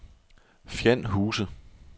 Fjand Huse